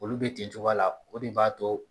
Olu bɛ ten cogoya la o de b'a to.